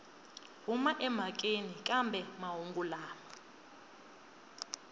huma emhakeni kambe mahungu lama